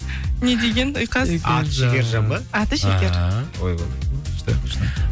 не деген ұйқас аты шекержан ба аты шекер ааа ойбой күшті күшті